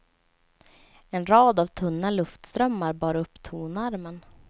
En rad av tunna luftströmmar bar upp tonarmen.